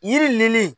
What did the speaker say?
Yiri nin ne